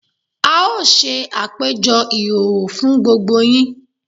A ó ṣe àpèjọ ìhòòhò fún gbogbo yín